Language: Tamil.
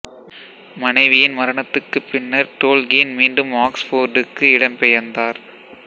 மனைவியின் மரணத்துக்குப் பின்னர் டோல்கீன் மீண்டும் ஆக்சுபோர்டுக்கு இடம் பெயர்ந்தார்